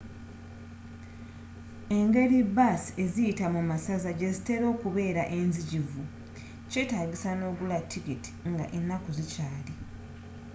engeri baasi eziyita mu masaza gye zitera okubeera enzijuvu kyetaagisa nogula tikiiti nga enaku zikyaali